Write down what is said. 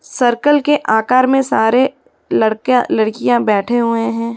Circle के आकार में सारे लड़का लडकियां बैठे हुए हैं।